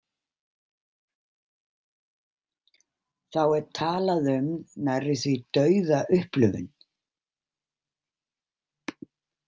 Þá er talað um nærri-því-dauða-upplifun.